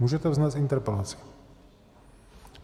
Můžete vznést interpelaci.